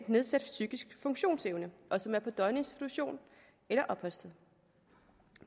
nedsat psykisk funktionsevne og som er på døgninstitution eller opholdssted